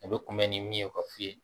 A bɛ kunbɛn ni min ye ka f'i ye